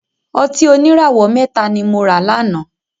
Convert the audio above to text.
Ọtí oníràwọ̀ mẹ́ta ni mora láná